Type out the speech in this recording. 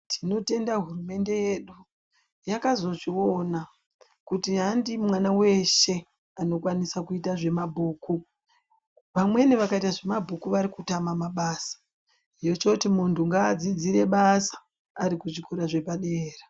Tinotenda hurumende yedu yakazozviona kuti handi mwana weshe anokwanisa kuita zvemabhuku vamweni vakaita zvemabhuku vari kutama mabasa yochoti muntu ngaadzidzire basa ari kuchikora chepadera.